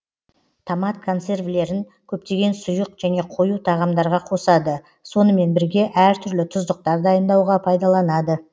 томат консервілерін көптеген сұйық және қою тағамдарға қосады сонымен бірге әр түрлі тұздықтар дайындауға пайдаланады